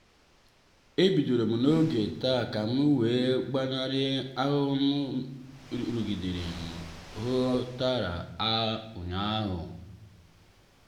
e bidorom n'oge taa kam wee gbanari ahụmahụ nrụgide m hụ tara ụnyaahụ.